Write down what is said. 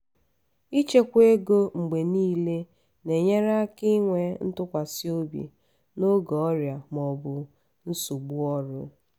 ịchekwa ego mgbe niile na-enyere aka inwe ntụkwasị obi n'oge ọrịa ma ọ bụ nsogbu ọrụ.